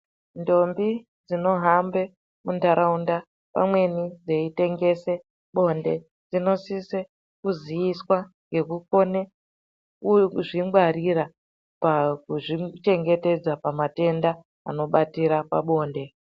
Ndombi dzino hambe mu ndaraunda pamweni dzeyi tengese bonde dzino sise kuziiswa ngeku kone uye kuzvi ngwarira kana ku zvichengetedza pa matenda ano batira pabonde.